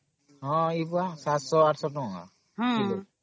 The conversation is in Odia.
ହଁ ଏ ବୁଆ 700 800 ଟଙ୍କା ...